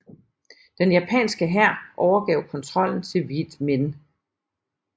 Den japanske hær overgav kontrollen til Vieth Minh